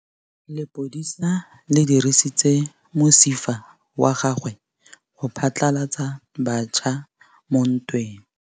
Lepodisa le dirisitse mosifa wa gagwe go phatlalatsa batšha mo ntweng.